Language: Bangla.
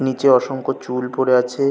নিচে অসংখ্য চুল পরে আছে।